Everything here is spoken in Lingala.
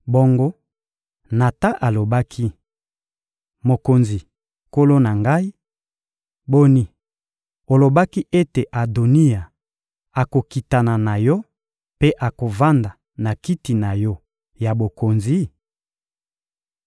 Bayebisaki mokonzi: — Tala mosakoli Natan! Mosakoli Natan akendeki liboso ya mokonzi, agumbamaki liboso ya mokonzi, elongi kino na se.